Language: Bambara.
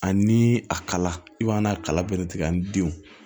Ani a kala i b'a n'a kala bɛlɛ tigɛ a ni denw